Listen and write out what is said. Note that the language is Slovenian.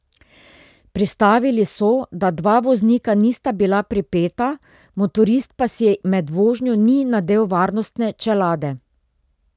Pristavili so, da dva voznika nista bila pripeta, motorist pa si med vožnjo ni nadel varnostne čelade.